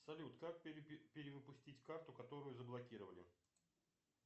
салют как перевыпустить карту которую заблокировали